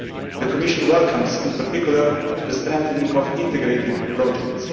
The Commission welcomes in particular the strengthening of Integrated Projects.